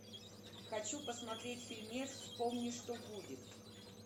хочу посмотреть фильмец вспомни что будет